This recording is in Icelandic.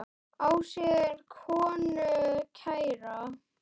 Á sér konu kæra ver.